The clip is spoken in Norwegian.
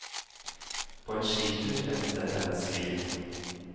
På en skitur endte hennes liv.